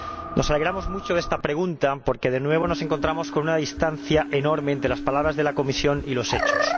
Nos alegramos mucho de que se plantee esta pregunta porque de nuevo nos encontramos con una distancia enorme entre las palabras de la Comisión y los hechos.